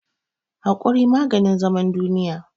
Hakuri maganin zaman duniya.